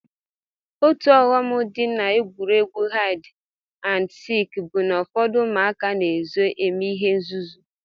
Otu ọghọm m dị n'egwuregwu haịd and sik bụ na ụfọdụ ụmụaka na-ezo eme ihe nzuzu